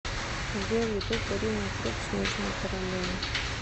сбер ютуб ирина круг снежная королева